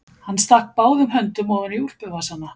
Hann stakk báðum höndum ofan í úlpuvasana.